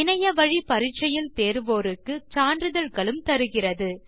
இணையத்தில் பரிட்சை எழுதி தேர்வோருக்கு சான்றிதழ்களும் தருகிறது